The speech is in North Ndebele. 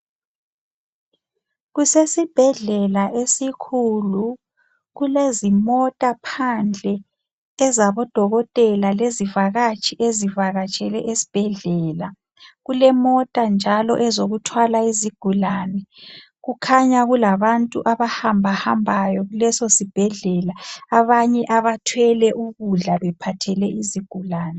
Kusesibhedlela esikhulu kulezimota phandle ezabodokotela lezivakatshi ezivakatshele esibhedlela. Kulemota njalo ezokuthwala izigulani. Kukhanya kulabantu abahambahambayo kulesosibhedlela abanye abathwele ukudla bephathele izigulani.